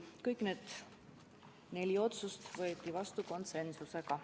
Kõik need neli otsust võeti vastu konsensusega.